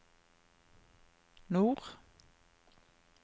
nord